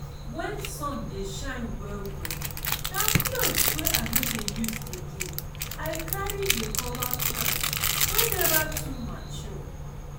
when sun dey shine well-well na clothes wey i no dey use again i carry dey cover plants wey never too mature.